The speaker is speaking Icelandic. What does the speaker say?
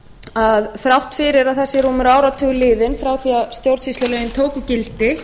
að þrátt fyrir að það sé rúmur áratugur liðinn frá því að stjórnsýslulögin tóku gildi